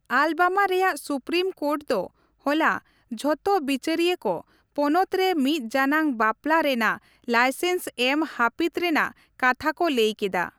Alabama ᱨᱮᱭᱟᱜ supreme court ᱫᱚ ᱦᱚᱞᱟ ᱡᱷᱚᱛᱚ ᱵᱤᱪᱟᱹᱨᱤᱭᱟᱹ ᱠᱚ, ᱯᱚᱱᱚᱛ ᱨᱮ ᱢᱤᱫ ᱡᱟᱱᱟᱝ ᱵᱟᱯᱞᱟ ᱨᱮᱱᱟᱜ ᱞᱟᱭᱥᱮᱱᱥ ᱮᱢ ᱦᱟᱹᱯᱤᱫ ᱨᱮᱱᱟᱜ ᱠᱟᱛᱷᱟ ᱠᱚ ᱞᱟᱹᱭ ᱠᱮᱫᱟ ᱾